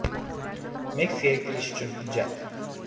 Meksikaga kirish uchun hujjat.